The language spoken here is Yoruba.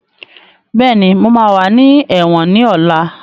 Bẹ́ẹ̀ni, mo máa wà ní ẹ̀wọ̀n náà ní ọ̀la